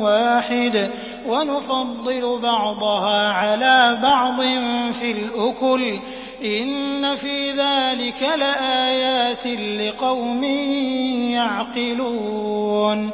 وَاحِدٍ وَنُفَضِّلُ بَعْضَهَا عَلَىٰ بَعْضٍ فِي الْأُكُلِ ۚ إِنَّ فِي ذَٰلِكَ لَآيَاتٍ لِّقَوْمٍ يَعْقِلُونَ